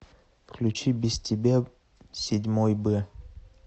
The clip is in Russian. включи без тебя седьмой б